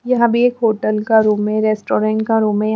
यहां भी एक होटल का रूम है रेस्टोरेंट का रूम है।